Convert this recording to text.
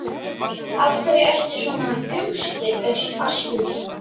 Af hverju ertu svona þrjóskur, Askur?